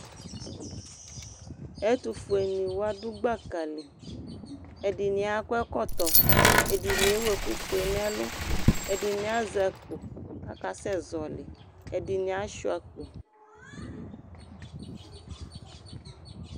Ɛtʋfuenɩ wa dʋ kpaka li Ɛdɩnɩ akɔ ɛkɔtɔ, ɛdɩnɩ ewu ɛkʋfue nʋ ɛlʋ Ɛdɩnɩ azɛ akpo kʋ akasɛzɔɣɔlɩ Ɛdɩnɩ asʋɩa akpo